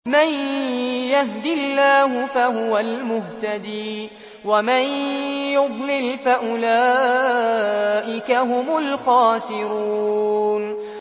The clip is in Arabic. مَن يَهْدِ اللَّهُ فَهُوَ الْمُهْتَدِي ۖ وَمَن يُضْلِلْ فَأُولَٰئِكَ هُمُ الْخَاسِرُونَ